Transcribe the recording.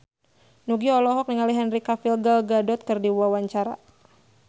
Nugie olohok ningali Henry Cavill Gal Gadot keur diwawancara